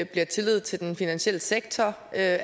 bliver tillid til den finansielle sektor at